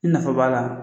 I nafa b'a la